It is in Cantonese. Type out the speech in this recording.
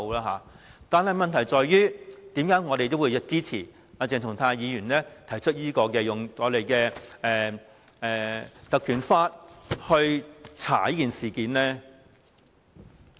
可是，為何我們仍會支持鄭松泰議員提出引用《權力及特權條例》調查這事件呢？